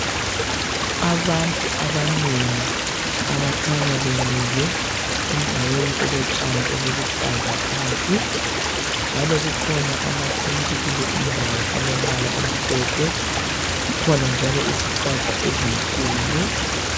Abantu abanengi abakhanya bemile endaweni elotshani obuluhlaza phansi njalo kukhona ama tent kuleyi indawo alombala omhlophe , kukhona njalo izihlahla ezinkulu